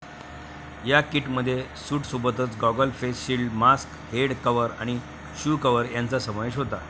या किटमध्ये सूटसोबतच goggle, face shield, mask, head cover आणि शू कव्हर यांचा समावेश होतो.